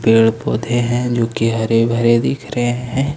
पेड़ पौधे हैं जोकि हरे भरे दिख रहे हैं।